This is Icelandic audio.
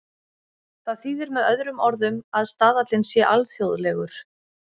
Það þýðir með öðrum orðum að staðallinn sé alþjóðlegur.